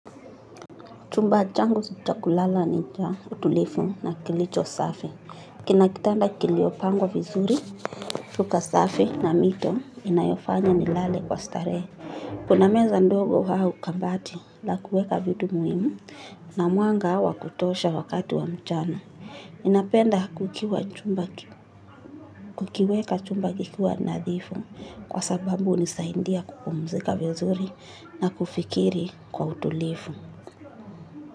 Chumba changu si chakulala ni cha utulivu na kilicho safi. Kina kitanda kiliopangwa vizuri, shuka safi na mito inayofanya ni lale kwa starehe. Kuna meza ndogo hao kambati la kuweka vitu muhimu na mwanga wa kutosha wakati wa mchana. Napenda kukiweka chumba kikiwa nadhifu kwa sababu isaidia kupumzika vizuri na kufikiri kwa utulifu.